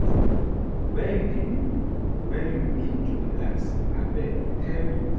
Where you dey go wen you need to relax, Abeg, tell me?